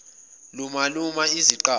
luma luma izaqathi